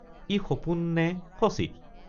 ই সপোন নে সচিত!